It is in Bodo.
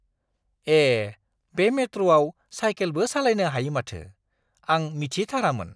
ए! बे मेट्र'आव साइकेलबो सालायनो हायो माथो! आं मिथिथारामोन!